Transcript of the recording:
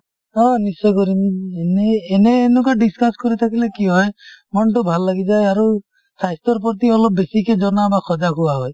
অহ নিশ্চয় কৰিম এনে এনেই এনেকুৱা discuss কৰি থাকিলে কি হয় মনটো ভাল লাগি যায় আৰু স্বাস্থ্যৰ প্ৰতি অলপ বেছিকে জনা আৰু সজাগ হোৱা হয়।